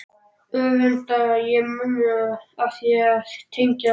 Öfunda ég mömmu af því að tengjast